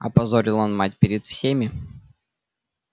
опозорил он мать перед всеми